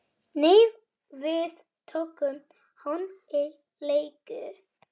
Nei, við tókum hann á leigu